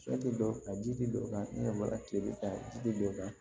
Sɔ tɛ dɔ kan ji tɛ don o kan ne yɛrɛ ma tile bɛ ta ji tɛ dɔ kan